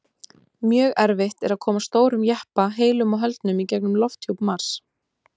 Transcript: Mjög erfitt er að koma stórum jeppa heilum og höldnum í gegnum lofthjúp Mars.